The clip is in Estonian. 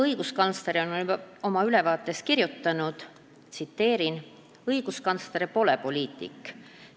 Õiguskantsler on oma ülevaates kirjutanud: "Õiguskantsler pole poliitik.